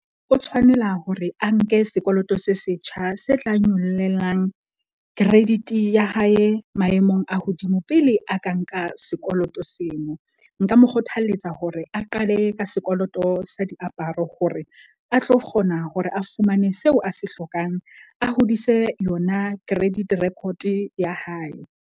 O tshwanela hore a nke sekoloto se setjha se tlang nyollelang credit-i ya hae maemong a hodimo pele a ka nka sekoloto seno. Nka mo kgothalletsa hore a qale ka sekoloto sa diaparo hore a tlo kgona hore a fumane seo a se hlokang, a hodise yona credit record-e ya hae.